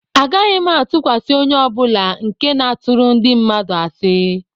Agaghị m atụkwasị onye ọ bụla nke na-atụrụ ndị mmadụ asị